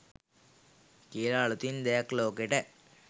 කියල අළුතින් දෙයක් ලෝකෙට